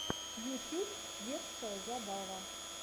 ютьюб детская забава